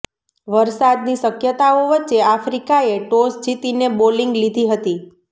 વરસાદની શક્યતાઓ વચ્ચે આફ્રિકાએ ટોસ જીતીને બોલિંગ લીધી હતી